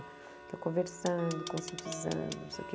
Então, conversando, conscientizando, não sei o quê.